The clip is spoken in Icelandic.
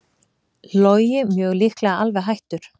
Logi mjög líklega alveg hættur